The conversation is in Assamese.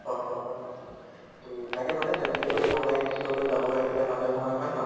হয় হয় হয়। তʼ তাকে মানে travelling কৰিও ভাল লাগে নিশ্চয়্কৈ যাব লাগে কেতিয়া মাজে সময়ে হয় নে নহয়?